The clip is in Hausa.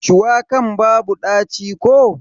Shuwakan babu ɗaci ko?